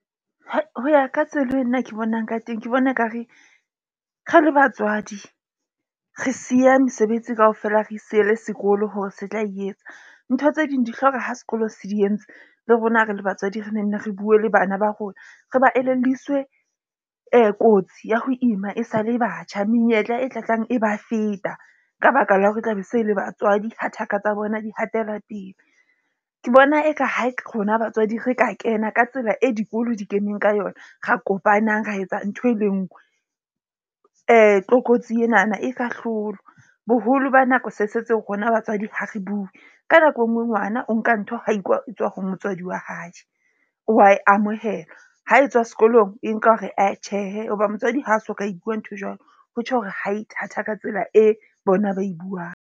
Ho ya ka tsela e nna ke bonang ka teng ke bona ekare re le batswadi re siya mesebetsi kaofela, re siele sekolo hore se tla e etsa. Ntho tse ding di hloka ha sekolo se di entse. Le rona re le batswadi re nenne re bue le bana ba rona. Re ba elelliswe kotsi ya ho ima e sa le batjha, menyetla e tla tlang e ba feta ka baka la hore e tla be se le batswadi ha thaka tsa bona, di hatela pele. Ke bona eka ha rona batswadi re ka kena ka tsela e dikolo di keneng ka yona re kopanang, ra etsa ntho e le nngwe tlokotsi enana e ka hlolwa. Boholo ba nako se rona batswadi ha re bue. Ka nako enngwe? Ngwana o nka ntho ha ho tswa ho motswadi wa hae wa e amohela. Ha e tswa sekolong e nka hore ae tjhehe hoba motswadi ha so ka e bua nthwe jwalo, ho tjho hore ha e thata ka tsela e bona ba e buang.